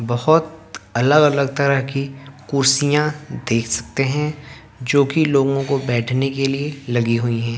बहोत अलग अलग तरह की कुर्सियां देख सकते हैं जोकि लोगों को बैठने के लिए लगी हुई हैं।